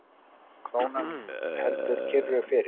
Krónan heldur kyrru fyrir